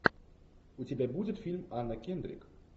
у тебя будет фильм анна кендрик